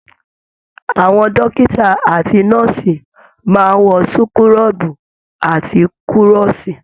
Àwọn dókítà àti nọ́ọ̀sì máa n wọ súkúrọbuù àti kúrọ́sí.